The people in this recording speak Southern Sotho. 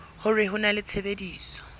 hore ho na le tshebetso